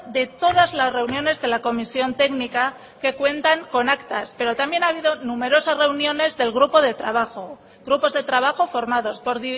de todas las reuniones de la comisión técnica que cuentan con actas pero también ha habido numerosas reuniones del grupo de trabajo grupos de trabajo formados por